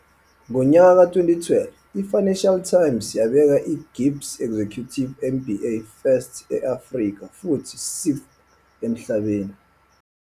Ngonyaka ka-2012, i-Financial Times yabeka i-GIBS Executive MBA 1st e-Afrika futhi 60th emhlabeni.